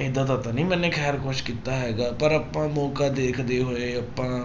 ਏਦਾਂ ਦਾ ਤਾਂ ਨੀ ਮੈਨੇ ਖੈਰ ਕੁਛ ਕੀਤਾ ਹੈਗਾ ਪਰ ਆਪਾਂ ਮੌਕਾ ਦੇਖਦੇ ਹੋਏ ਆਪਾਂ